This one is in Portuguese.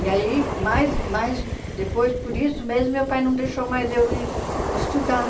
E aí, mais mais depois por isso mesmo, meu pai não deixou mais eu es estudar.